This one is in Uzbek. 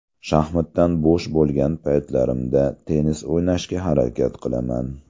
Shaxmatdan bo‘sh bo‘lgan paytlarimda tennis o‘ynashga harakat qilaman.